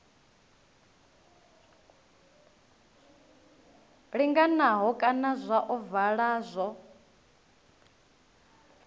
linganaho kana zwa ovala zwo